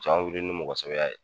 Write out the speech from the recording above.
Can wili ni mɔgɔsɛbɛya ye